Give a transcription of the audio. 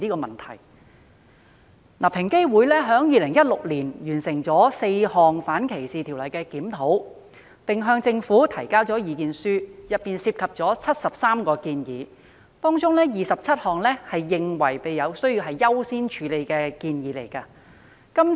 平等機會委員會在2016年完成4項反歧視條例的檢討，並向政府提交意見書，當中包括73項建議，而其中27項建議被視為需要優先處理。